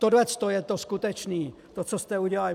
Tohleto je to skutečné, to, co jste udělali.